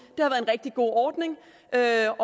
er